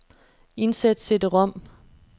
Indsæt cd-rom.